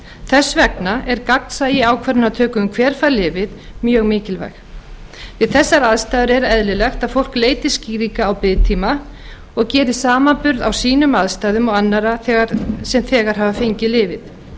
þess vegna er gagnsæi í ákvarðanatöku um hver fær lyfið mjög mikilvægt við þessar aðstæður er eðlilegt að fólk leiti skýringa á biðtíma og geri samanburð á sínum aðstæðum og annarra sem þegar hafa fengið lyfið